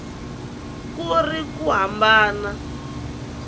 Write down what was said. ku ri na ku hambana